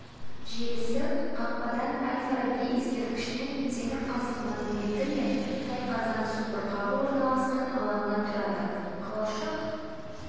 желісі қақпадан әл-фараби ескерткішінен темір қазық монументі мен тайқазан су бұрқағы орналасқан алаңнан тұрады қалашық